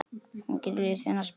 Hún getur lesið þennan spegil.